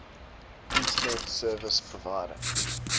internet service provider